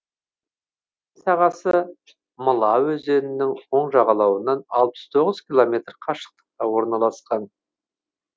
өзен сағасы мыла өзенінің оң жағалауынан алпыс тоғыз километр қашықтықта орналасқан